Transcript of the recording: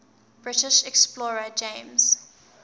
british explorer james